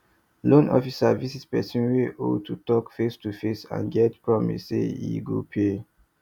loan officer visit person wey owe to talk facetoface and get promise say e go pay